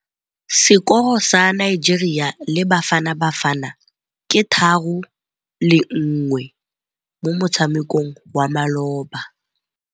Sekôrô sa Nigeria le Bafanabafana ke 3-1 mo motshamekong wa malôba.